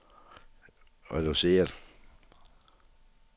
reduceret